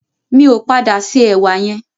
Mi ò padà se ẹ̀wà yẹn.